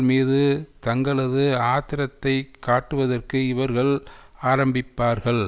மீது தங்களது ஆத்திரத்தைக் காட்டுவதற்கு இவர்கள் ஆரம்பிப்பார்கள்